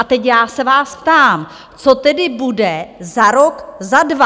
A teď já se vás ptám: co tedy bude za rok, za dva?